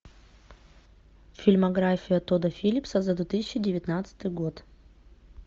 фильмография тодда филлипса за две тысячи девятнадцатый год